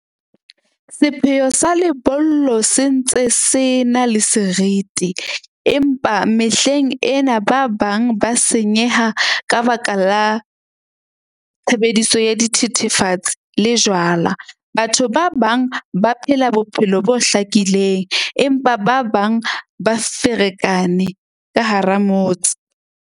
Sepheo sa lebollo se ntse se na le seriti, empa mehleng ena ba bang ba senyeha ka baka la tshebediso ya dithethefatsi le jwala. Batho ba bang ba phela bophelo bo hlakileng, empa ba bang ba ferekane ka hara motse.